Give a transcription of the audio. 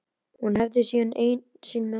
Hún hefði sína eigin lækna úti.